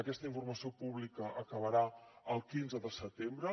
aquesta informació pública acabarà el quinze de setembre